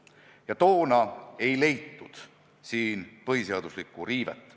Ja toona ei leitud siin põhiseaduse riivet.